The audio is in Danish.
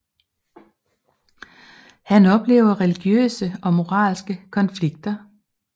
Han oplever religiøse og moralske konflikter